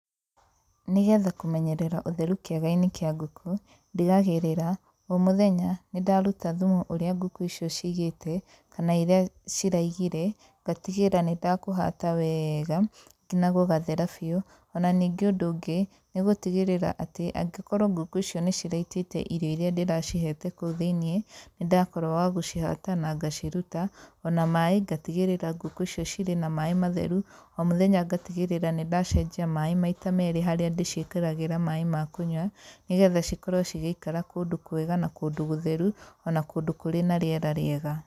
Nĩgetha kũmenyerera ũtheru kĩaga-inĩ kĩa ngũkũ, ndigagĩrĩra o mũthenya nĩndaruta thumu ũrĩa ngũkũ icio ciigĩte kana irĩa ciraigire ngatigĩrĩra nĩndakũhata weega nginya gũgathera biu. Ona ningĩ ũndũ ũngĩ, nĩgũtigĩrĩra atĩ, angĩkorwo ngũkũ icio nĩciraitĩte irio irĩa ndĩracihete kũu thĩinie nĩndakorwo wa gũcihata na ngaciruta. Ona maĩ ngatigĩrĩra ngũkũ icio cirĩ na maĩ matheru, o mũthenya ngatigĩrĩra nĩndacenjia maĩ maita merĩ harĩa ndĩciĩkĩragĩra maĩ ma kũnyua nĩgetha cikorwo cigĩikara kũndũ kwega na kũndũ gũtheru ona kũndũ kũrĩ na rĩera rĩega.